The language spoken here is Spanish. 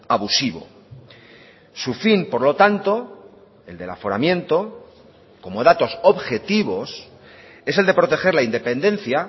abusivo su fin por lo tanto el del aforamiento como datos objetivos es el de proteger la independencia